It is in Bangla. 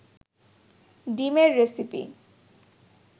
ডিমের রেসিপি